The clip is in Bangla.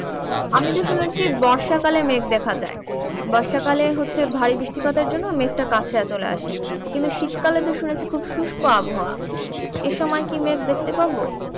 বর্ষাকালে মেঘ দেখা যায় বর্ষাকালে হচ্ছে ভারী বৃষ্টিপাতের জন্য মেঘ টা কাছিয়া চলে আসে কিন্তু শীতকালে তো শুনেছি খুব শুষ্ক আবহাওয়া এ সময় কি মেঘ দেখতে পাবো